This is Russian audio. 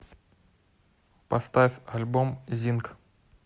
поставь альбом зинг